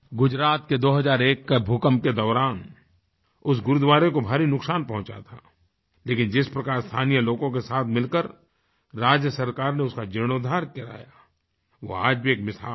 गुजरात के 2001 के भूकंप के दौरान उस गुरूद्वारे को भारी नुकसान पहुँचा था लेकिन जिस प्रकार स्थानीय लोगों के साथ मिलकर राज्य सरकार ने उसका जीर्णोद्धार कराया वो आज भी एक मिसाल है